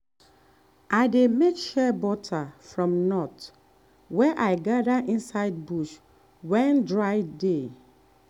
i dey make shea butter from nut wey i gather inside bush when dry dey.